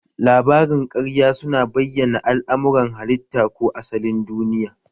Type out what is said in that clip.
Labarin ƙarya su na bayyana al'amuran halitta ko asalin duniya